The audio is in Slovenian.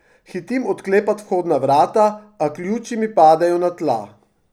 Hitim odklepat vhodna vrata, a ključi mi padejo na tla.